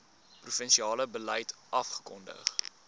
provinsiale beleid afgekondig